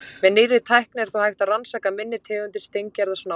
Með nýrri tækni er þó hægt að rannsaka minni tegundir steingerðra snáka.